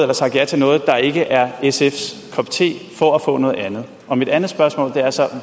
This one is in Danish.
har sagt ja til noget der ikke er sfs kop te for at få noget andet og mit andet spørgsmål er så